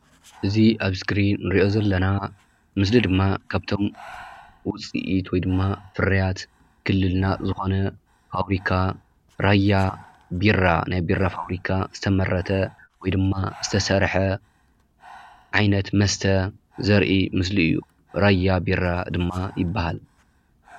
እዚ ኣብ እስክሪን እንርኦ ዘለና ምስሊ ድማ ካብቶም ውፂኢት ወይድማ ፍርያት ክልልና ዝኮነ ፋብሪካ ራያ ቢራ ናይ ቢራ ፋብሪካ ዝተመረተ ወይድማ ዝተሰረሐ ዓይነት መስተ ዘርኢ ምስሊ እዩ። ራያ ቢራ ድማ ይባሃል።